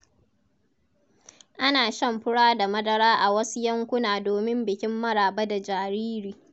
Ana shan fura da madara a wasu yankuna domin bikin maraba da jariri.